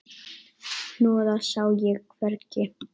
Hnoðað sá ég hvergi.